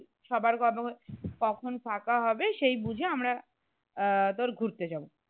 কখন থাকা হবে সেই বুঝে আমরা আহ তোর ঘুরতে যাবো